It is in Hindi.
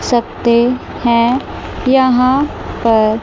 सकते हैं यहां पर--